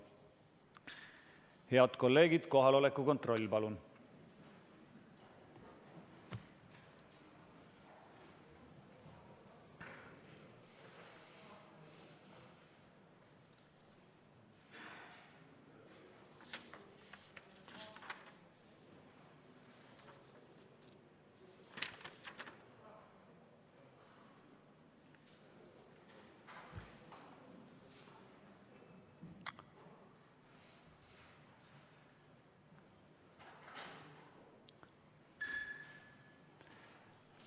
Head kolleegid, kohaloleku kontroll, palun!